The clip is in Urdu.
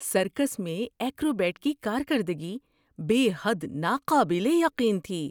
سرکس میں ایکروبیٹ کی کارکردگی بے حد ناقابل یقین تھی!